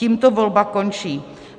Tímto volba končí.